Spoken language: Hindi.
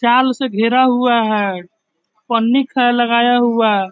चारों से घेरा हुआ है पनि खा लगाया हुआ है|